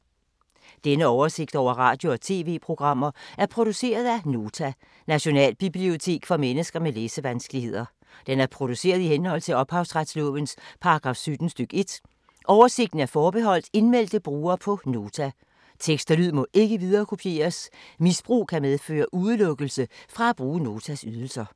Denne oversigt over radio og TV-programmer er produceret af Nota, Nationalbibliotek for mennesker med læsevanskeligheder. Den er produceret i henhold til ophavsretslovens paragraf 17 stk. 1. Oversigten er forbeholdt indmeldte brugere på Nota. Tekst og lyd må ikke viderekopieres. Misbrug kan medføre udelukkelse fra at bruge Notas ydelser.